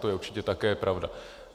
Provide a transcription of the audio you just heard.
To je určitě také pravda.